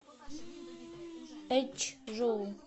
эчжоу